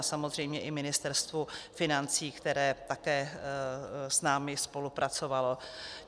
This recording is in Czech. A samozřejmě i Ministerstvu financí, které také s námi spolupracovalo.